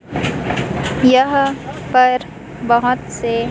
यह पर बहोत से--